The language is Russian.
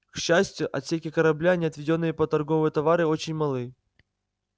к счастью отсеки корабля не отведённые под торговые товары очень малы